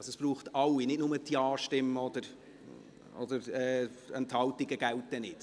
Also, es braucht alle, nicht nur die Ja-Stimmen, Enthaltungen gelten nicht.